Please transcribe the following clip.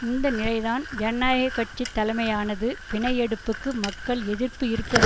இந்த நிலைதான் ஜனநாயக கட்சி தலைமையானது பிணை எடுப்புக்கு மக்கள் எதிர்ப்பு இருப்பது